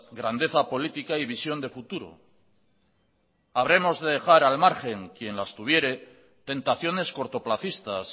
grandeza política y visión de futuro habremos de dejar al margen quien las tuviere tentaciones cortoplacistas